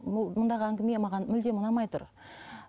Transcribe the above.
бұл мұндағы әңгіме маған мүлдем ұнамай тұр